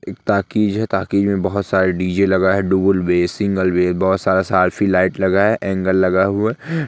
एक टॉकीज है टॉकीज में बहुत सारे डी.जे. लगा है डूअल भी है सिंगल बे बहुत सारा लाइट लगा है एंगल लगा हुआ है।